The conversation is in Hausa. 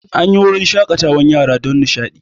An yi wurin shaƙatawan yara don nishaɗi